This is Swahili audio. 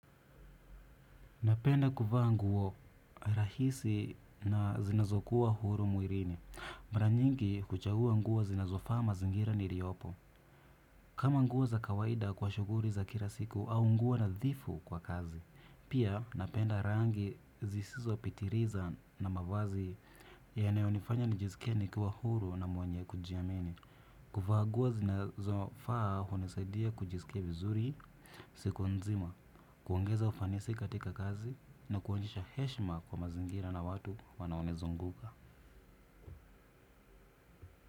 Napenda kuvaa nguo rahisi na zinazokuwa huru mwilini. Mara nyingi huchagua nguo zinazofaa mazingira niliyopo. Kama nguo za kawaida kwa shughuli za kila siku au nguo nadhifu kwa kazi. Pia napenda rangi zisizopitiliza na mavazi yanayonifanya nijisikie nikiwa huru na mwenye kujiamini. Kuvaa nguo zinazofaa hunisaidia kujisikia vizuri siku nzima. Kuongeza ufanisi katika kazi na kuonyesha heshima kwa mazingira na watu wanaonizunguka.